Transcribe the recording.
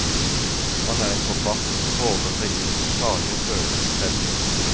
Han er en forfatter som våger seg ut i farlige følelsesfelter.